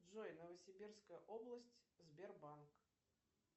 джой новосибирская область сбербанк